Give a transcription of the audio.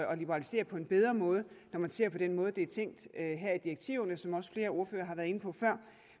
at liberalisere på en bedre måde når man ser på den måde det er tænkt her i direktiverne som også flere ordførere har været inde på før